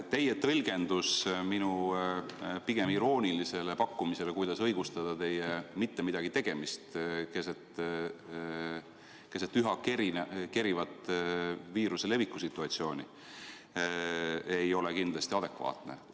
Teie tõlgendus minu pigem iroonilisele küsimusele, kuidas õigustada teie mitte midagi tegemist keset üha kerivat viiruse leviku situatsiooni, ei ole kindlasti adekvaatne.